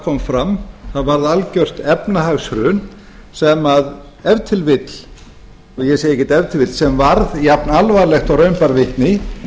kom fram það varð algert efnahagshrun sem ef til vill og ég segi ekki ef til vill sem varð jafn alvarlegt og raun ber vitni